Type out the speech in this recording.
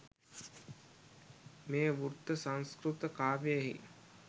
මේ වෘත්ත සංස්කෘත කාව්‍යයෙහි